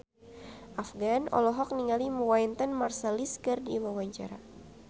Afgan olohok ningali Wynton Marsalis keur diwawancara